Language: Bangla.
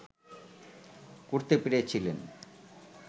করতে পেরেছিলেন